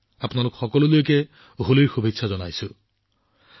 আপোনালোক সকলোলৈ হোলীৰ শুভেচ্ছা জনালো